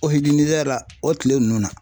o tile nunnu na.